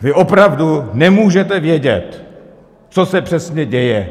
Vy opravdu nemůžete vědět, co se přesně děje.